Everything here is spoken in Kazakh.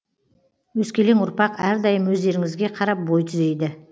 өскелең ұрпақ әрдайым өздеріңізге қарап бой түзейді